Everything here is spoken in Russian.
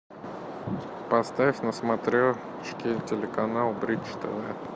поставь на смотрешке телеканал бридж тв